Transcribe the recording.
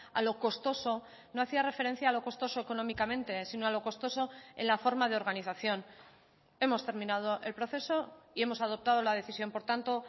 a lo costoso no hacía referencia a lo costoso económicamente sino a lo costoso en la forma de organización hemos terminado el proceso y hemos adoptado la decisión por tanto